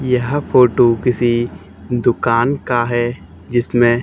यह फोटो किसी दुकान का है जिसमें--